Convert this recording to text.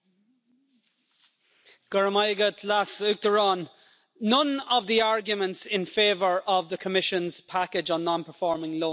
Madam President, none of the arguments in favour of the Commission's package on non performing loans stand up to scrutiny.